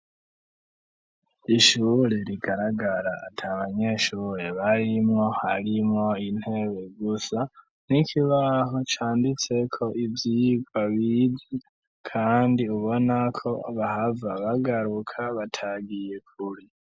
Kw'ishure rigaragara ata abanyeshure barimwo harimwo intebe gusa n'ikibaho canditse ko ivyigwa bize kandi ubona ko bahava bagaruka batagiye kure.